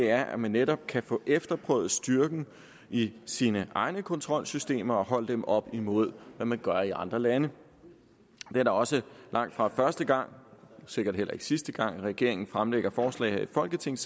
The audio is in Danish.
er at man netop kan få efterprøvet styrken i sine egne kontrolsystemer og holde dem op imod hvad man gør i andre lande det er da også langtfra første gang og sikkert heller ikke sidste gang at regeringen fremsætter forslag her i folketinget